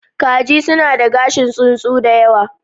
Kaji suna da gashin tsuntsu da yawa.